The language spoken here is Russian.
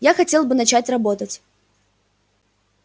я хотел бы начать работать